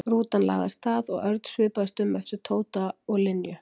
Rútan lagði af stað og Örn svipaðist um eftir Tóta og Linju.